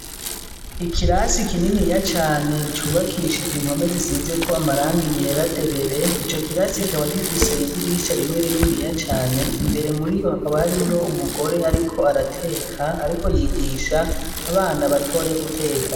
Ikirasi kininiya cane cubakishije impome zisize ko amarangi yera derere ico kirasi kikaba gifise idirisha rimwe rininiya cane imbere muri iyo hakaba hari yo umugore ariko arateka ariko yigisha abana batoya guteka.